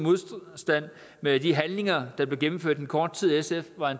modstrid med de handlinger der blev gennemført i den korte tid sf var